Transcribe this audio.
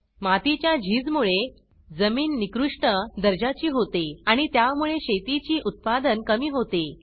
मातीच्या झीज मुळे जमीन निकृष्ट दर्जाची होते आणि त्यामुळे शेतीचे उत्पादन कमी होते